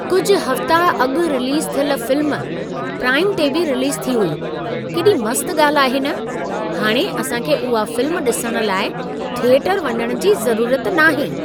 कुझु हफ़्ता अॻु रिलीज़ु थियल फ़िल्म, प्राइम ते बि रिलीज़ु थी हुई। केॾी मस्त ॻाल्ह आहे न! हाणे असां खे उहा फ़िल्म ॾिसण लाइ थिएटरु वञण जी ज़रूरत नाहे!